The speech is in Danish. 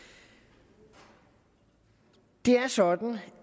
det er sådan